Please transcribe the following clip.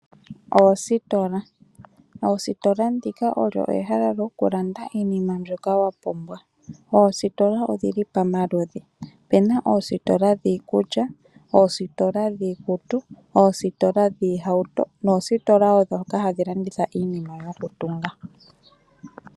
Oositola Oositola, ndika olyo ehala lyokulanda iinima mbyoka wa pumba. Oositola odhi li pamaludhi, opuna oositola dhiikulya, oositola dhiikutu, oositola dhiihauto noositola woo ndhoka hadhi landitha iinima yokutunga.